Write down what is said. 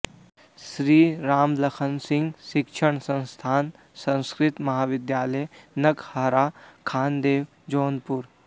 श्री रामलखन सिंह शिक्षण संस्थान संस्कृत महाविद्यालय नकहरा खानदेव जौनपुर